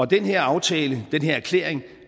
den her aftale den her erklæring